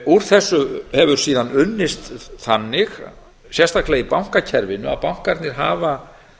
úr þessu hefur síðan unnist þannig sérstaklega í bankakerfinu að bankarnir hafa